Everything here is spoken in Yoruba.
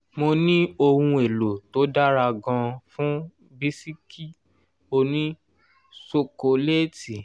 mo ní ohun èlò tó dára gan-an fún bisikì òní ṣokoléétì.